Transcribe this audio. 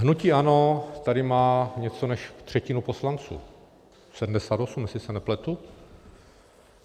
Hnutí ANO tady má více než třetinu poslanců, 78, jestli se nepletu.